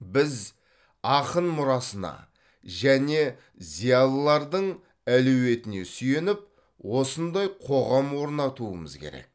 біз ақын мұрасына және зиялылардың әлеуетіне сүйеніп осындай қоғам орнатуымыз керек